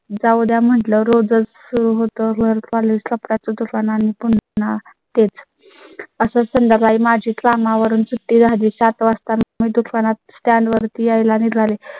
जाऊ द्या म्हटलं, रोज सुरू होतो. घर college कपड्याचं दुकान आणि पुन्हा तेच असं संध्याकाळी माझी कामावरून सुट्टी झाली. सात वाजता मी दुकानातून stand वरती यायला निघाले.